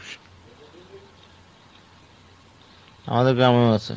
আমাদের গ্রামেও আছে।